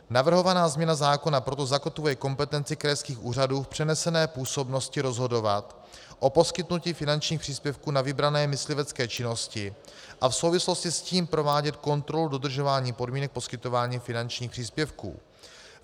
Navrhovaná změna zákona proto zakotvuje kompetenci krajských úřadů v přenesené působnosti rozhodovat o poskytnutí finančních příspěvků na vybrané myslivecké činnosti a v souvislosti s tím provádět kontrolu dodržování podmínek poskytování finančních příspěvků.